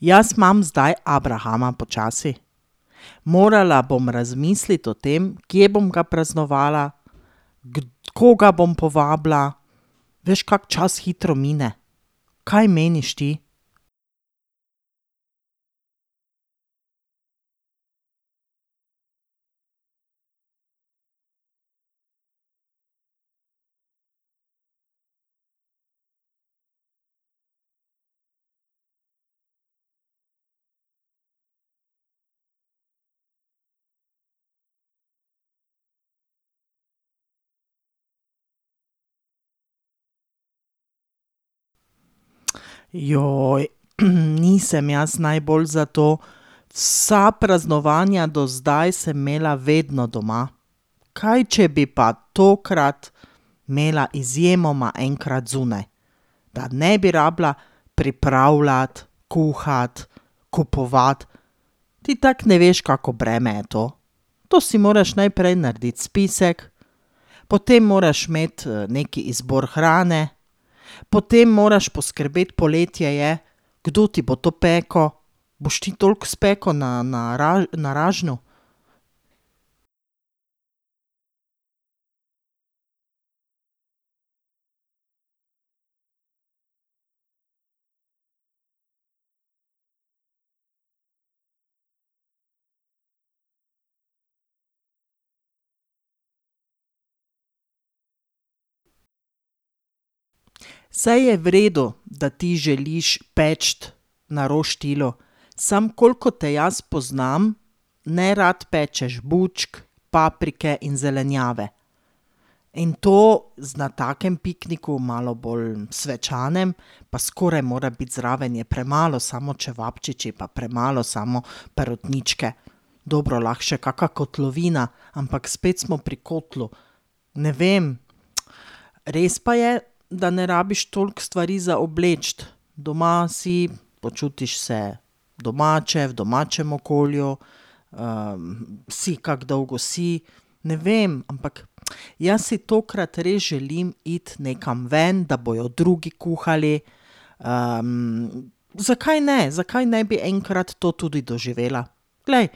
Jaz imam zdaj abrahama počasi. Morala bom razmisliti o tem, kje bom ga praznovala, koga bom povabila. Veš, kako čas hitro mine? Kaj meniš ti? nisem jaz najbolj za to. Vsa praznovanja do zdaj sem imela vedno doma. Kaj, če bi pa tokrat imela izjemoma enkrat zunaj? Da ne bi rabila pripravljati, kuhati kupovati. Ti tako ne veš, kako breme je to. To si moraš najprej narediti spisek, potem moraš imeti, neki izbor hrane, potem moraš poskrbeti, poletje je, kdo ti bo to pekel, boš ti toliko spekel na, na, na ražnju? Saj je v redu, da ti želiš peči na roštilju, samo koliko te jaz poznam, nerad pečeš bučke, paprike in zelenjave. In to na takem pikniku, malo bolj svečanem, pa skoraj mora biti zraven, je premalo samo čevapčiči, pa premalo samo perutničke. Dobro, lahko še kaka kotlovina, ampak spet smo pri kotlu. Ne vem. res pa je, da ne rabiš toliko stvari za obleči. Doma si, počutiš se domače, v domačem okolju, si, kako dolgo si. Ne vem, ampak, jaz si tokrat res želim iti nekam ven, da bojo drugi kuhali, zakaj ne, zakaj ne bi enkrat to tudi doživela? Glej,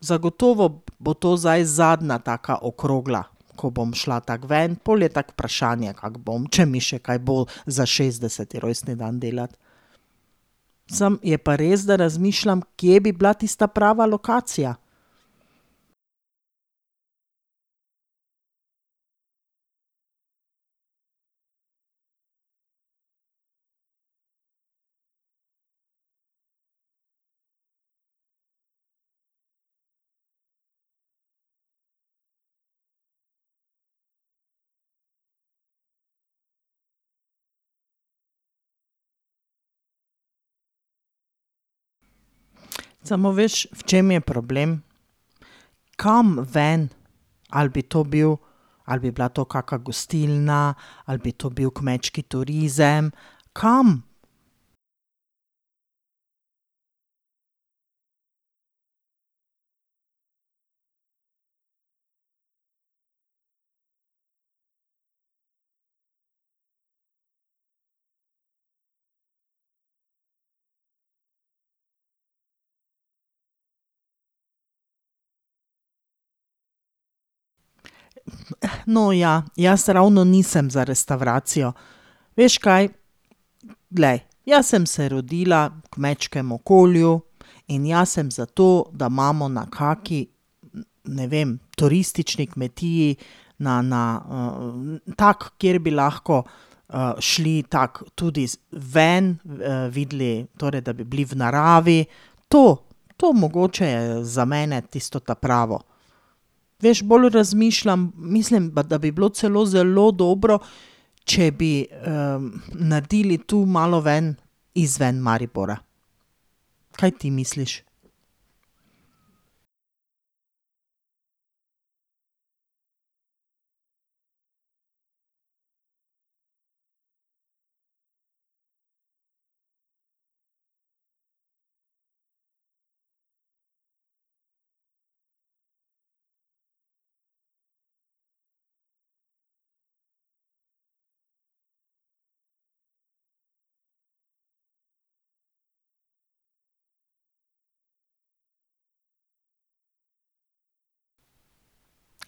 zagotovo bo to zdaj zadnja taka okrogla, ko bom šla tako ven. Pol je tako vprašanje, kako bom, če mi še kaj bo za šestdeseti rojstni dan delati. Samo je pa res, da razmišljam, kje bi bila tista prava lokacija. Samo veš, v čem je problem? Kam ven? Ali bi to bil, ali bi bila to kaka gostilna, ali bi to bil kmečki turizem? Kam? No, ja, jaz ravno nisem za restavracijo. Veš, kaj? Glej, jaz sem se rodila v kmečkem okolju in jaz sem za to, da imamo na kaki, ne vem, turistični kmetiji, na, na, tako, kjer bi lahko, šli tako tudi ven, videli, torej da bi bili v naravi. To. To mogoče je za mene tisto ta pravo. Veš, pol razmišljam. Mislim pa, da bi bilo celo zelo dobro, če bi, naredili tu malo ven. Izven Maribora. Kaj ti misliš?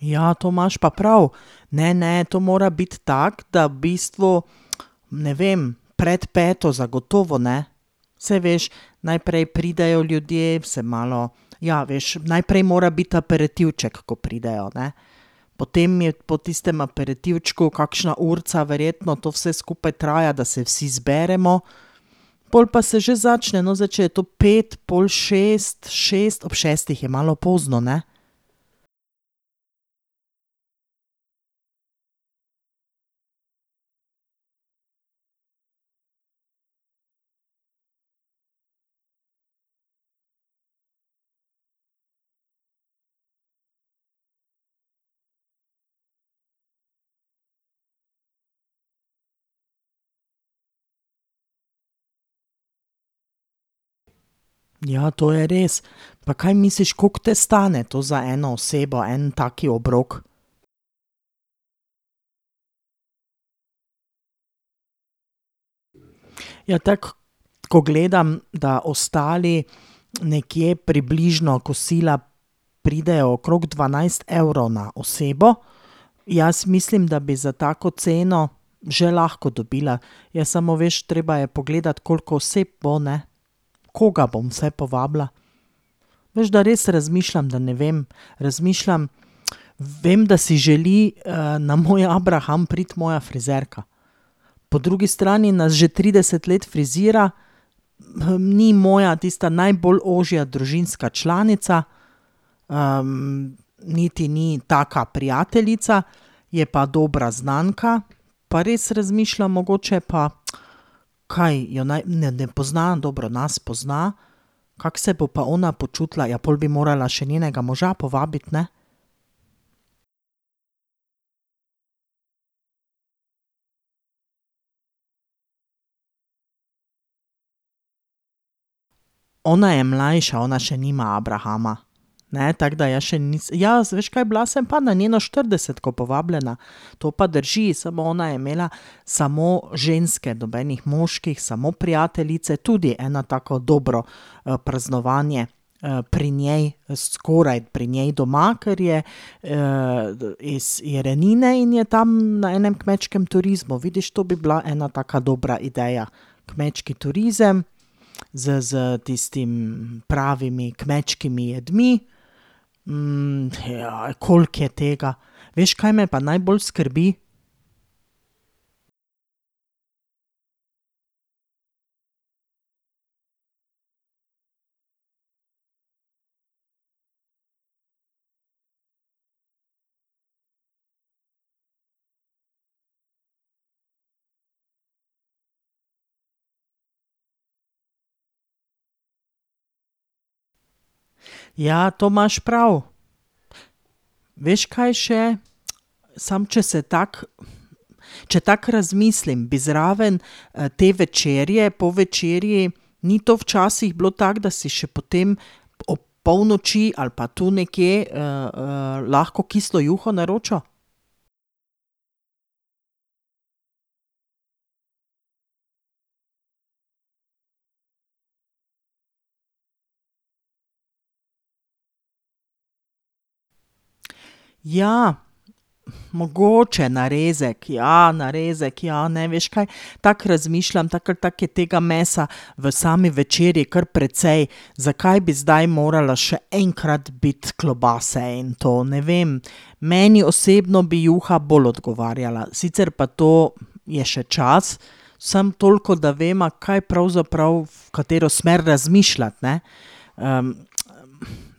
Ja, to imaš pa prav. Ne, ne, to mora biti tako, da v bistvu, ne vem, pred peto zagotovo ne. Saj veš, najprej pridejo ljudje, se malo ... Ja, veš, najprej, mora biti aperitivček, ko pridejo, ne. Potem je po tistem aperitivčku, kakšna urica verjetno to vse skupaj traja, da se vsi zberemo, pol pa se že začne. No, zdaj če je to pet, pol šest, šest. Ob šestih je malo pozno, ne? Ja, to je res. Pa kaj misliš, kako te stane to za eno osebo, en tak obrok? Ja, tako, ko gledam, da ostali nekje približno kosila pridejo okrog dvanajst evrov na osebo. Jaz mislim, da bi za tako ceno že lahko dobila. Ja, samo veš, treba je pogledati, koliko oseb bo, ne. Koga bom vse povabila? Veš, da res razmišljam, da ne vem. Razmišljam. Vem, da si želi, na moj abraham priti moja frizerka. Po drugi strani nas že trideset let frizira, ni moja tista najbolj ožja družinska članica, niti ni taka prijateljica, je pa dobra znanka. Pa res razmišljam, mogoče pa, kaj jo ne poznam dobro, nas pozna, kako se bo pa ona počutila? Ja, pol bi morala še njenega moža povabiti, ne? Ona je mlajša, ona še nima abrahama, ne, tako da jaz še ... Ja, veš kaj, bila sem pa na njeno štiridesetko povabljena, to pa drži, Samo ona je imela samo ženske, nobenih moških, samo prijateljice, tudi eno tako dobro, praznovanje, pri njej, skoraj pri njej doma, ker je, iz Jerenine in je tam na enem kmečkem turizmu. Vidiš, to bi bila ena taka dobra ideja. Kmečki turizem s, s tistim pravimi kmečkimi jedmi, koliko je tega. Veš, kaj me pa najbolj skrbi? Ja, to imaš prav. Veš, kaj še? samo, če se tako, če tako razmislim, bi zraven, te večerje, po večerji, ni to včasih bilo tako, da si še potem ob polnoči ali pa tu nekje, lahko kislo juho naročil? Ja. Mogoče narezek, ja, narezek, ja. Ne, veš kaj? Tako razmišljam. Tako ali tako je tega mesa v sami večerji kar precej. Zakaj bi zdaj morale še enkrat biti klobase in to? Ne vem, meni osebno bi juha bolj odgovarjala. Sicer pa to je še čas. Samo toliko, da veva, kaj pravzaprav, v katero smer razmišljati, ne.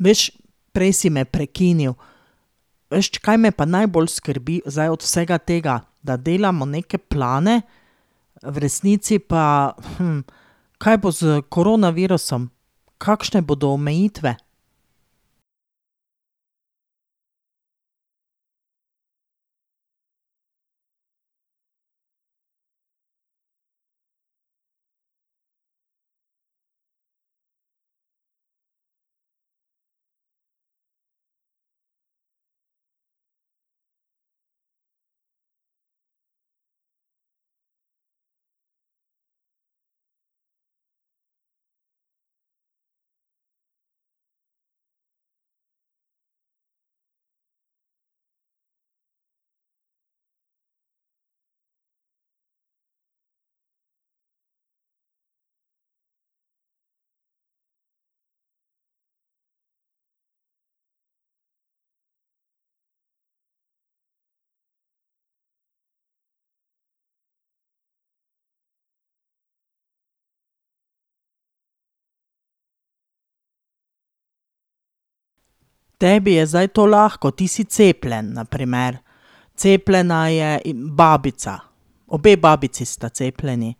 veš, prej si me prekinil. Veš, kaj me pa najbolj skrbi zdaj od vsega tega? Da delamo neke plane, v resnici pa, kaj bo s koronavirusom? Kakšne bodo omejitve? Tebi je zdaj to lahko, ti si cepljen na primer. Cepljena je babica, obe babici sta cepljeni.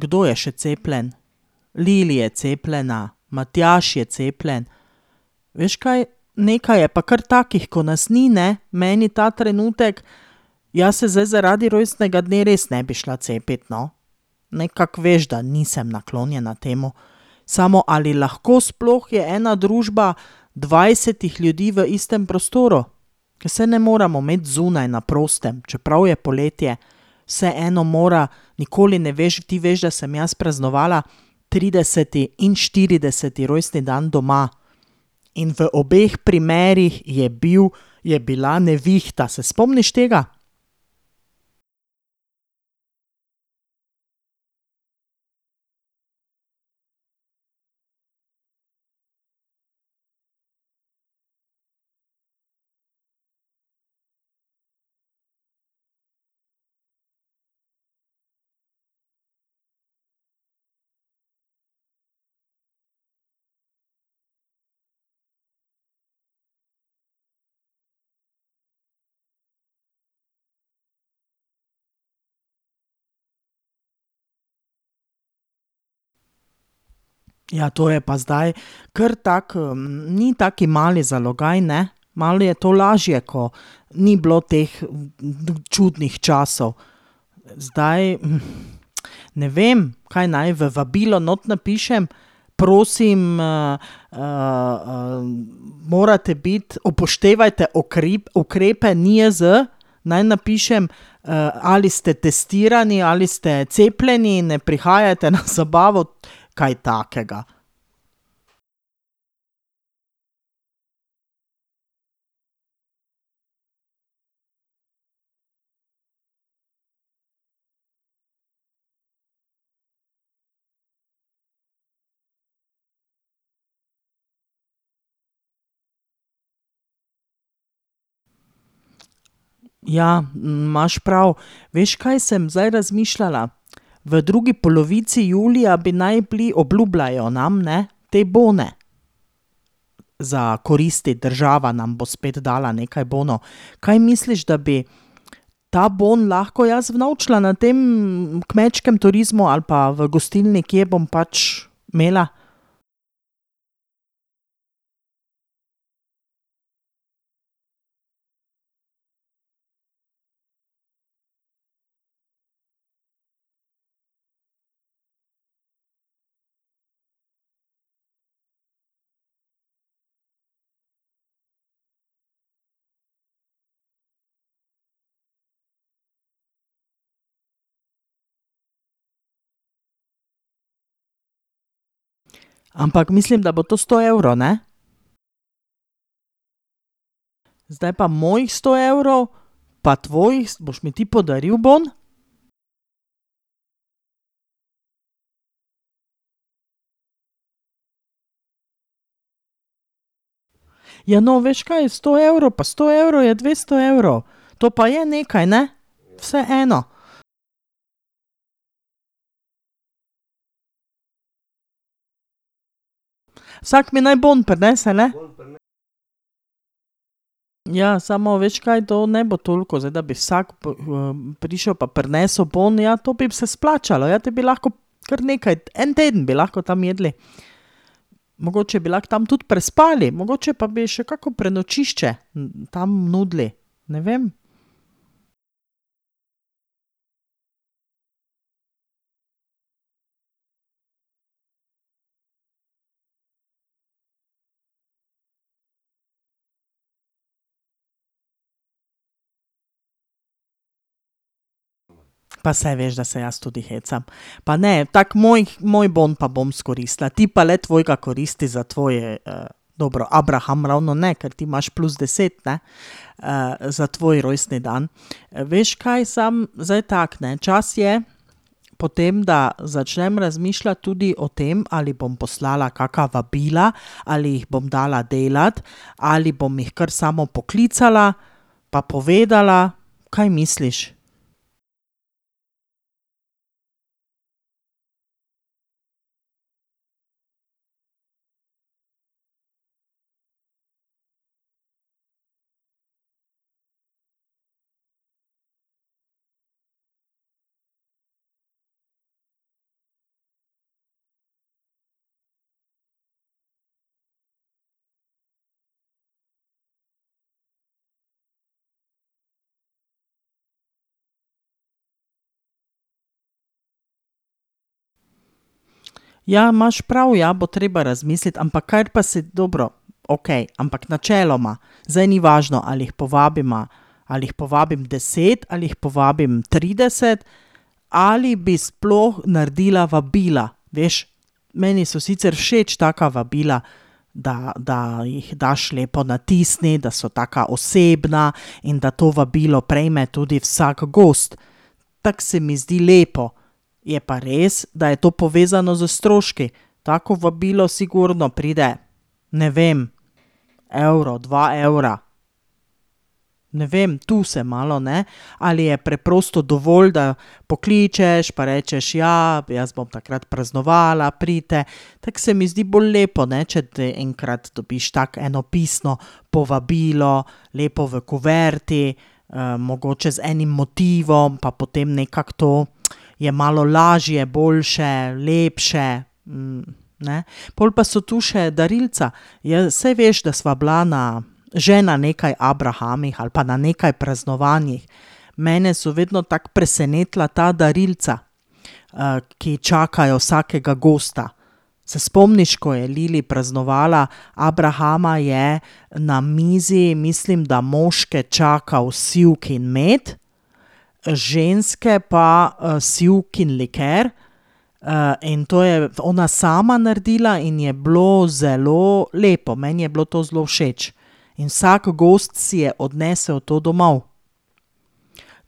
kdo je še cepljen? Lili je cepljena, Matjaž je cepljen. Veš kaj? Nekaj je pa kar takih, ko nas ni, ne? Meni ta trenutek, jaz se zdaj zaradi rojstnega dne res ne bi šla cepit, no. Nekako veš, da nisem naklonjena temu. Samo, ali lahko sploh je ena družba dvajsetih ljudi v istem prostoru? Saj ne moremo imeti zunaj na prostem, čeprav je poletje. Vseeno mora, nikoli ne veš. Ti veš, da sem jaz praznovala trideseti in štirideseti rojstni dan doma. In v obeh primerih je bil, je bila nevihta. Se spomniš tega? Ja, to je pa zdaj kar tako, ni tak mali zalogaj, ne. Malo je to lažje, ko ni bilo teh čudnih časov. Zdaj, ne vem, kaj naj. V vabilo not napišem, prosim, morate biti, upoštevajte ukrepe NIJZ? Naj napišem, "Ali ste testirani ali ste cepljeni, ne prihajajte na zabavo." Kaj takega. Ja, imaš prav. Veš, kaj sem zdaj razmišljala? V drugi polovici julija bi naj bili, obljubljajo nam, ne, te bone za koristiti, država nam bo spet dala nekaj bonov. Kaj misliš, da bi ta bom lahko jaz unovčila na tem kmečkem turizmu ali pa v gostilni, kje bom pač imela? Ampak, mislim, da bo to sto evrov, ne? Zdaj pa mojih sto evrov, pa tvojih boš mi ti podaril bon? Ja, no, veš, kaj? Sto evrov, pa sto evrov je dvesto evrov. To pa je nekaj, ne? Vseeno. Vsak mi naj bom prinese, ne? Ja, samo veš, kaj. To ne bo toliko, zdaj da bi vsak prišel pa prinesel bon. Ja, to bi se splačalo, ja, potem bi lahko kar nekaj, en teden bi lahko tam jedli. Mogoče bi lahko tam tudi prespali. Mogoče pa bi še kako prenočišče tam nudili. Ne vem. Pa saj veš, da se jaz tudi hecam. Pa ne, tako mojih, moj bon pa bom izkoristila. Ti pa le tvojega koristi za tvoj, dobro, abraham ravno ne, ker ti imaš plus deset, ne. za tvoj rojstni dan. Veš, kaj, samo zdaj tako, ne. Čas je potem, da začnem razmišljati tudi o tem, ali bom poslala kaka vabila ali jih bom dala delati ali bom jih kar samo poklicala pa povedala. Kaj misliš? Ja, imaš prav, ja. Bo treba razmisliti. Ampak kaj pa dobro, okej, ampak načeloma zdaj ni važno, ali jih povabiva, ali jih povabim deset ali jih povabim trideset. Ali bi sploh naredila vabila? Veš, meni so sicer všeč taka vabila, da, da jih daš lepo natisniti, da so taka osebna in da to vabilo prejme tudi vsak gost. Tako se mi zdi lepo. Je pa res, da je to povezano s stroški. Tako vabilo sigurno pride, ne vem, evro, dva evra. Ne vem, tu se malo, ne. Ali je preprosto dovolj, da pokličeš pa rečeš: "Ja, jaz bom takrat praznovala, pridite." Tako se mi zdi bolj lepo, ne, če enkrat dobiš tako eno pisno povabilo, lepo v kuverti, mogoče z enim motivom pa potem nekako to je malo lažje, boljše, lepše, ne. Pol pa so tu še darilca. saj veš, da sva bila na, že na nekaj abrahamih ali pa na nekaj praznovanjih. Mene so vedno tako presenetila ta darilca, ki čakajo vsakega gosta. Se spomniš, ko je Lili praznovala abrahama, je na mizi, mislim, da moške čakal sivkin med, ženske pa, sivkin liker, in to je ona sama naredila in je bilo zelo lepo, meni je bilo to zelo všeč. In vsak gost si je odnesel to domov.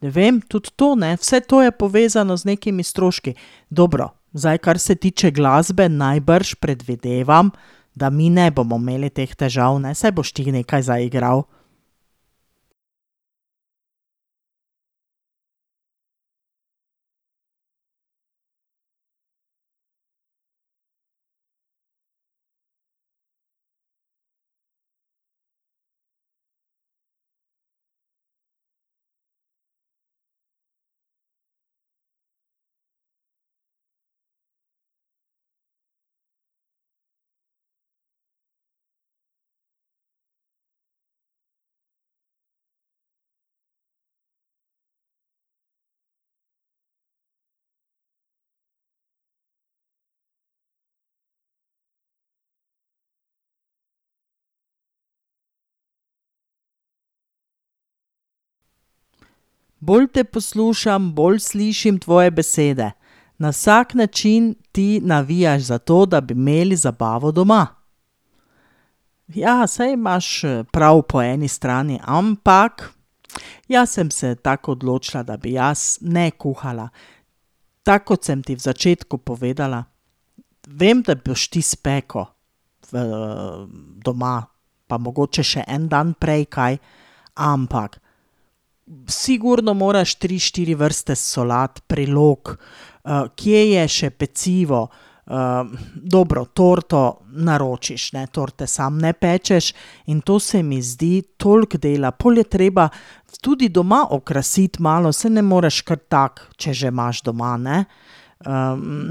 Ne vem, tudi to, ne. Vse to je povezano z nekimi stroški. Dobro, zdaj, kar se tiče glasbe, najbrž, predvidevam, da mi ne bomo imeli teh težav, ne. Saj boš ti nekaj zaigral? Bolj te poslušam, bolj slišim tvoje besede. Na vsak način ti navijaš za to, da bi imeli zabavo doma. Ja, saj imaš, prav po eni strani, ampak jaz sem se tako odločila, da bi jaz ne kuhala. Tako kot sem ti v začetku povedala. Vem, da boš ti spekel, doma, pa mogoče še en dan prej kaj. Ampak sigurno moraš tri, štiri vrste solat, prilog. kje je še pecivo, dobro, torto naročiš, ne, torte sam ne pečeš. In to se mi zdi toliko dela. Pol je treba tudi doma okrasiti malo. Saj ne moreš kar tako, če že imaš doma, ne.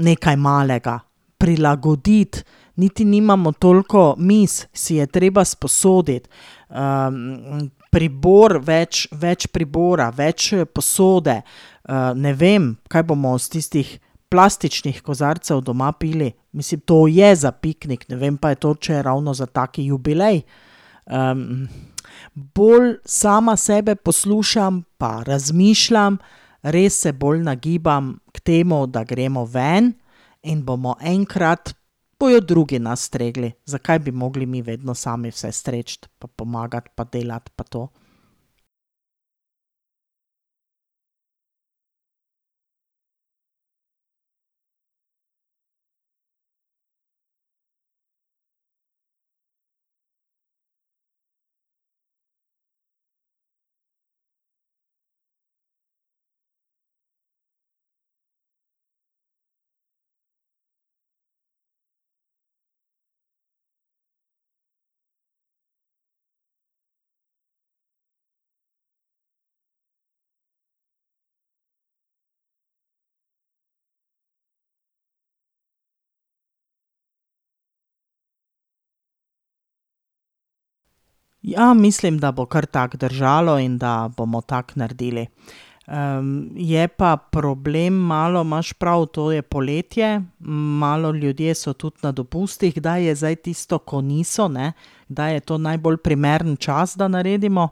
nekaj malega. Prilagoditi, niti nimamo toliko miz, si je treba sposoditi. pribor več, več pribora, več, posode. ne vem, kaj bomo iz tistih plastičnih kozarcev doma pili? Mislim, to je za piknik, ne vem pa, je to, če je ravno za taki jubilej. bolj sama sebe poslušam pa razmišljam, res se bolj nagibam k temu, da gremo ven in bomo enkrat, bojo drugi nas stregli. Zakaj bi mogli mi vedno sami vse streči pa pomagati pa delati pa to? Ja, mislim, da bo kar tako držalo in da bomo kar tako naredili. je pa problem malo, imaš prav, to je poletje, malo ljudje so tudi na dopustih. Kdaj je zdaj tisto, ko niso, ne. Kdaj je to najbolj primeren čas, da naredimo?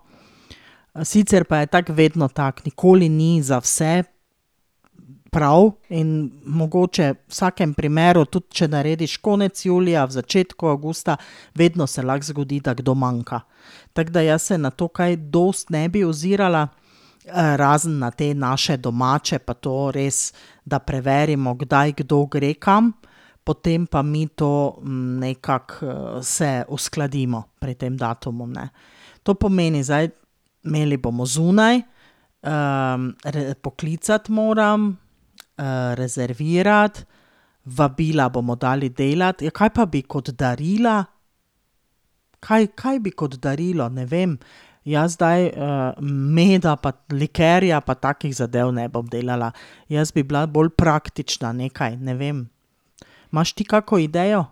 sicer pa je tako vedno tako. Nikoli ni za vse prav in mogoče v vsakem primeru, tudi če narediš konec julija, v začetku avgusta, vedno se lahko zgodi, da kdo manjka. Tako da jaz se na to kaj dosti ne bi ozirala, razen na te naše domače pa to, res, da preverimo, kdaj kdo gre kam. Potem pa mi to, nekako, se uskladimo pri tem datumu, ne. To pomeni zdaj, imeli bomo zunaj, poklicati moram, rezervirati, vabila bomo dali delati. Ja, kaj pa bi kot darila? Kaj, kaj bi kot darilo? Ne vem. Jaz zdaj, meda pa likerja pa takih zadev ne bom delala. Jaz bi bila bolj praktična nekaj, ne vem. Imaš ti kako idejo?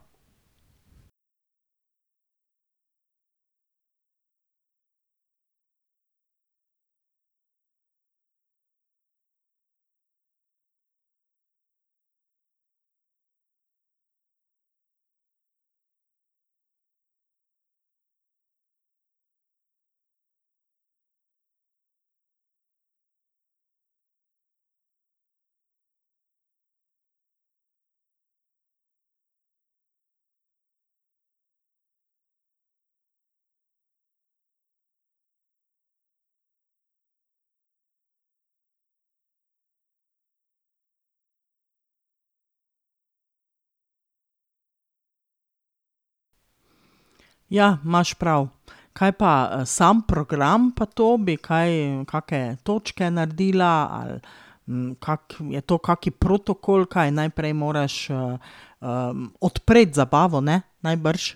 Ja, imaš prav. Kaj pa, sam program pa to? Bi kaj kake točke naredila ali kako, je to kak protokol, kaj? Najprej moraš, odpreti zabavo, ne? Najbrž.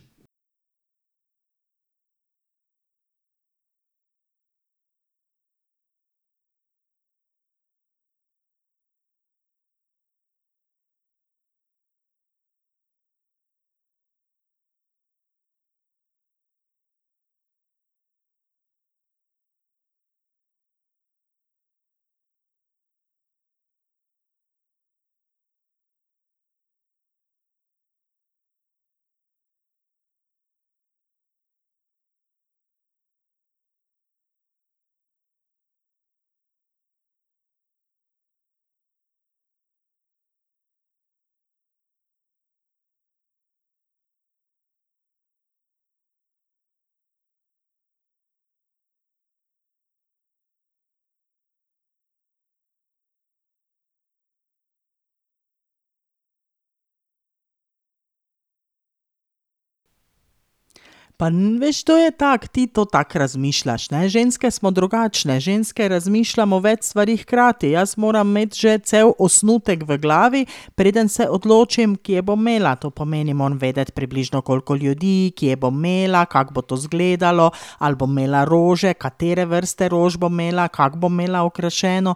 Pa veš, to je tako. Ti to tako razmišljaš, ne, ženske smo drugačne, ženske razmišljamo več stvari hkrati. Jaz moram imeti že cel osnutek v glavi, preden se odločim, kje bom imela. To pomeni, moram vedeti, približno koliko ljudi, kje bom imela, kako bo to izgledalo, ali bom imela rože, katere vrste rož bom imela, kako bom imela okrašeno.